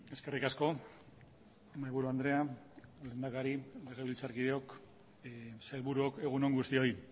eskerrik asko mahaiburu andrea lehendakari legebiltzarkideok sailburuok egun on guztioi